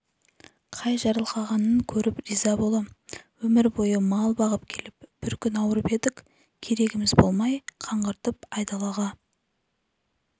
қай жарылқағанын көріп риза болам өмір бойы мал бағып келіп бір күн ауырып едік керегіміз болмай қаңғыртып айдалаға